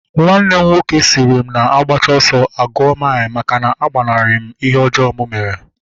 Nwanne m nwoke sịrị m na agbacha ọsọ aguo mile, maka na agbanari m ihe ọjọọ mụ mere